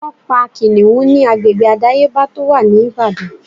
Wọ́n pa Kìnnìún ni agbègbè àdáyébá tó wà ní Ìbàdàn.